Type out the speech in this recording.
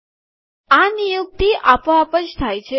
આ નિયુક્તિ આપોઆપ થાય છે